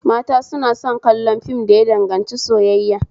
Mata suna son kallon fim da ya danganci soyayya